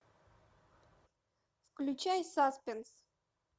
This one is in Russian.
включай саспенс